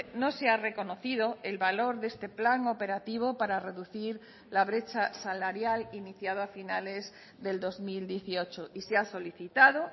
no se ha reconocido el valor de este plan operativo para reducir la brecha salarial iniciado a finales del dos mil dieciocho y se ha solicitado